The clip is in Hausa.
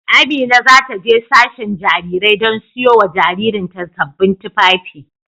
Amina za ta je sashen Jarirai don siyo wa jaririn ta sabbin tufafi.